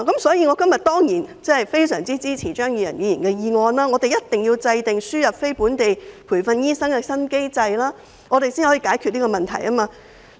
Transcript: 所以，我今天當然非常支持張宇人議員的議案，我們必須制訂輸入非本地培訓醫生的新機制，才能解決這個問題。